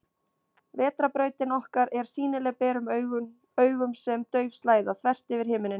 Vetrarbrautin okkar er sýnileg berum augum sem dauf slæða, þvert yfir himinninn.